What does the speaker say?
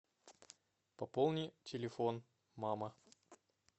пополни телефон мама